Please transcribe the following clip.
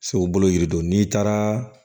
Se u bolo yiri don n'i taara